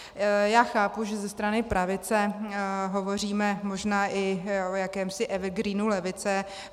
Já chápu, že ze strany pravice hovoříme možná i o jakémsi evergreenu levice.